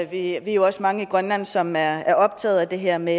vi er jo også mange i grønland som er er optaget af det her med